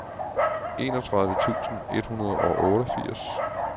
enogtredive tusind et hundrede og otteogfirs